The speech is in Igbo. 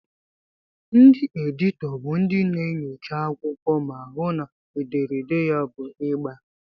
Ndị editọ bụ ndị na-enyocha akwụkwọ ma hụụ na ederede ya bụ ịgba.